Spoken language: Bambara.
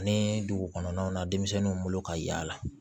Ani dugu kɔnɔnaw na denmisɛnninw bolo ka yaala